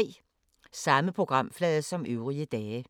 Samme programflade som øvrige dage